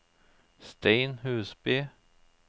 Stein Husby